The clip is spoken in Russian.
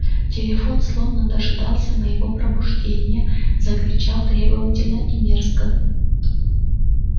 телефон словно дожидался моего пробуждения закричал требовательно и мерзко